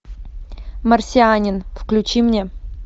марсианин включи мне